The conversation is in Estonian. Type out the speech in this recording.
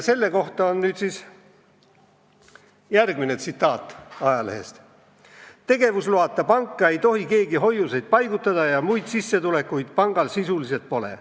Selle kohta järgmine tsitaat ajalehest: "Tegevusloata panka ei tohi keegi hoiuseid paigutada ja muid sissetulekud pangal sisuliselt pole.